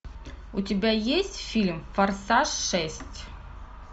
у тебя есть фильм форсаж шесть